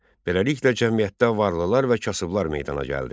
Beləliklə cəmiyyətdə varlılar və kasıblar meydana gəldi.